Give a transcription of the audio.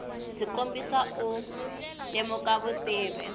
byi kombisa u lemuka vutivi